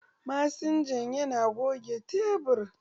Masinja yana goge tebur.